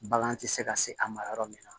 Bagan tɛ se ka se a ma yɔrɔ min na